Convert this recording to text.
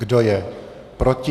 Kdo je proti?